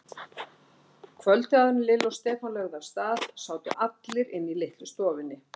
Kvöldið áður en Lilla og Stefán lögðu af stað sátu allir inni í litlu stofunni.